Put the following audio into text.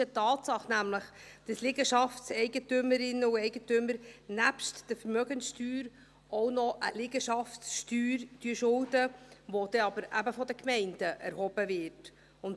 Es ist nämlich eine Tatsache, dass Liegenschaftseigentümerinnen und -eigentümer neben der Vermögenssteuer auch eine Liegenschaftssteuer schulden, welche von der Gemeinde erhoben wird.